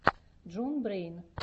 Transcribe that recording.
джон брэйн